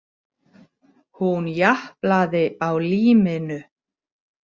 Hún japlaði á líminu.